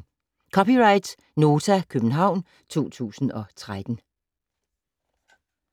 (c) Nota, København 2013